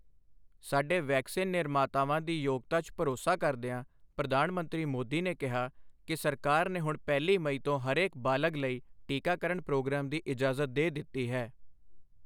ਸਾਡੇ ਵੈਕਸੀਨ ਨਿਰਮਾਤਾਵਾਂ ਦੀ ਯੋਗਤਾ 'ਚ ਭਰੋਸਾ ਕਰਦਿਆਂ ਪ੍ਰਧਾਨ ਮੰਤਰੀ ਮੋਦੀ ਨੇ ਕਿਹਾ ਕਿ ਸਰਕਾਰ ਨੇ ਹੁਣ ਪਹਿਲੀ ਮਈ ਤੋਂ ਹਰੇਕ ਬਾਲਗ਼ ਲਈ ਟੀਕਾਕਰਣ ਪ੍ਰੋਗਰਾਮ ਦੀ ਇਜਾਜ਼ਤ ਦੇ ਦਿੱਤੀ ਹੈ।